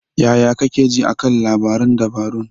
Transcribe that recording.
Yaya kake ji a kan labaran dabarun?